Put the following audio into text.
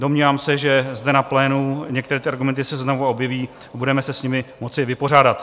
Domnívám se, že zde na plénu některé ty argumenty se znovu objeví a budeme se s nimi moci vypořádat.